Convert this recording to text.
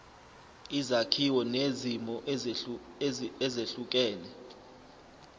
izakhiwo nezimo ezehlukene